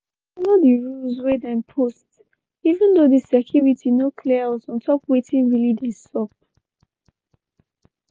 we follow di rules wey dem post even though di security no clear us on top wetin really dey sup.